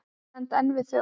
Ég stend enn við þau orð.